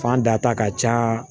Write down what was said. Fan da ta ka ca